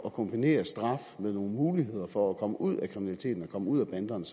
at kombinere straf med nogle muligheder for at komme ud af kriminaliteten og komme ud af banderne